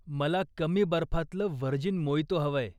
मला कमी बर्फातलं व्हर्जिन मोइटो हवंय.